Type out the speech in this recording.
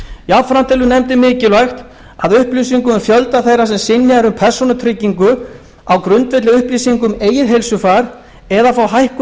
jafnframt telur nefndin mikilvægt að upplýsingum um fjölda þeirra sem synjað er um persónutryggingu á grundvelli upplýsinga um eigið heilsufar eða fá hækkuð